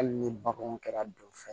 Hali ni baganw kɛra don fɛn ye